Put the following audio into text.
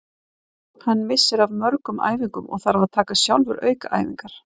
Hann missir af mörgum æfingum og þarf að taka sjálfur aukaæfingar.